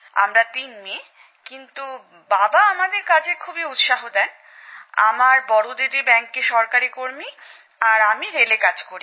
আমরা তিন মেয়ে কিন্তু বাবা আমাদের কাজে খুব উৎসাহ দেন আমার বড় দিদি ব্যাংকে সরকারি কর্মী আর আমি রেলে কাজ করি